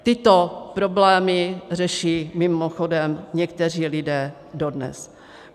Tyto problémy řeší mimochodem někteří lidé dodnes.